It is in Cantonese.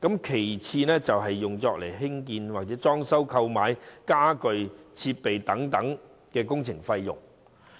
其次，有關支援可用作興建、裝修、購買傢具、設備等工程費用。